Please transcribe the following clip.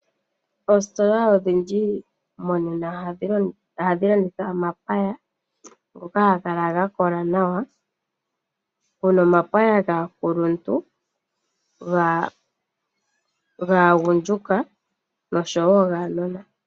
Oositola odhindji monena ohadhi landitha omapaya ngoka haga kala ga kola nawa. Opu na omapaya gaakuluntu, gaagundjuka noshowo guunona.